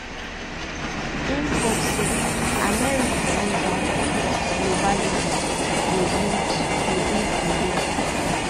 im hope say americanism not globalism go lead go lead di way